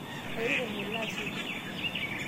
airure ngole asioki